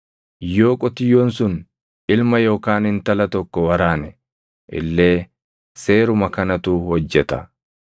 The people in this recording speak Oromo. Yoo qotiyyoon sun ilma yookaan intala tokko waraane illee seeruma kanatu hojjeta.